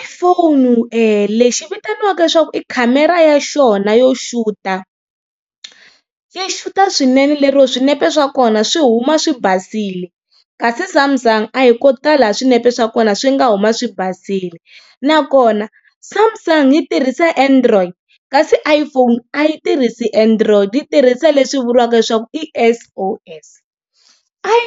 iPhone e lexi vitaniwaka leswaku i khamera ya xona yo xuta, yi xuta swinene lero swinepe swa kona swi huma swi basile. Kasi Samsung a hi ko tala swinepe swa kona swi nga huma swi basile, nakona Samsung yi tirhisa Android kasi iPhone a yi tirhisi Android yi tirhisa leswi vuriwaka leswaku i S_O_S.